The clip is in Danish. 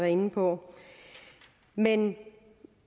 inde på men